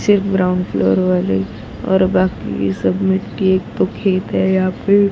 सिर्फ ground floor वाले और बाकी सब मिट्टी एक तो खेत है यहां पे।